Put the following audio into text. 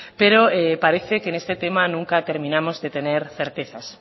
pero parece que en este tema nunca terminamos de tener certezas